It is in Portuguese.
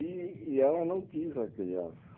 E e ela não quis a criança.